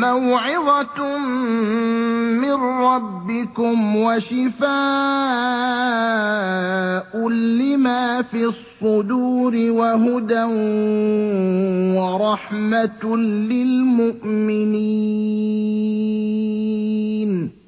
مَّوْعِظَةٌ مِّن رَّبِّكُمْ وَشِفَاءٌ لِّمَا فِي الصُّدُورِ وَهُدًى وَرَحْمَةٌ لِّلْمُؤْمِنِينَ